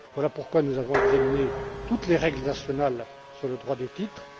Voilà pourquoi nous avons examiné toutes les règles nationales sur le droit des titres.